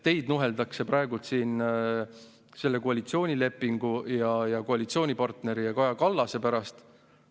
Teid nuheldakse praegu siin selle koalitsioonilepingu ja koalitsioonipartneri ja Kaja Kallase pärast.